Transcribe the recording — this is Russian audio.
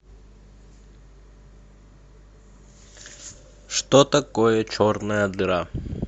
что такое черная дыра